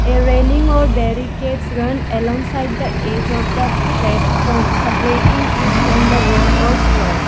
a railing or barricades run alongside the edge of the platform separating it from the road or slope.